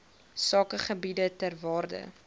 sakegebiede ter waarde